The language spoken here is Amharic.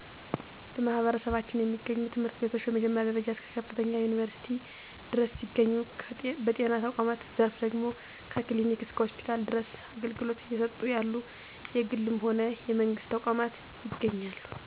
በማህበረሰባችን የሚገኙ ትምህርት ቤቶች ከመጀመሪያ ደረጃ እስከ ከፍተኛ ዩኒቨርስቲ ድረስ ሲገኝ፤ በጤና ተቋማት ዘርፍ ደግሞ ከ ክሊኒክ እስከ ሆስፒታል ድረስ አገልግሎት እየሰጡ ያሉ የግልም ሆነ የመንግስት ተቋማት ይገኛሉ።